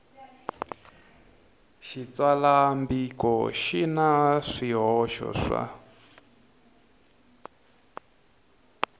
xitsalwambiko xi na swihoxo swa